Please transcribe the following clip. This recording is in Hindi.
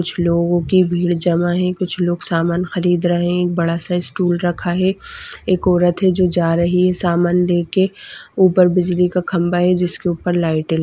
कुछ लोगों की भीड़ जमा है कुछ लोग सामान खरीद रहे है एक बड़ा साइज स्टूल रखा है एक औरत है जो जा रही है सामान लेके। ऊपर बिजली का खंबा है जिसके ऊपर लाइट -ए --